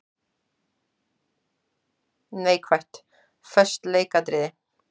Neikvætt:- Föst leikatriði.